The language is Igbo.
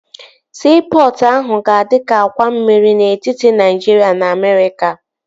Siipọtụ ahụ ga-adi ka àkwà mmiri n'etiti Naịjiria na Amerịka